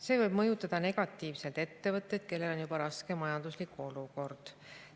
See võib mõjutada negatiivselt ettevõtteid, kellel juba on raske majanduslik olukord.